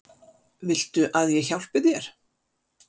Viltu að ég hjálpi þér?